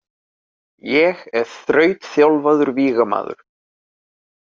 Ég er þrautþjálfaður vígamaður.